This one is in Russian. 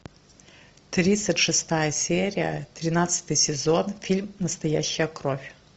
тридцать шестая серия тринадцатый сезон фильм настоящая кровь